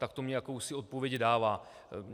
Tak to mně jakousi odpověď dává.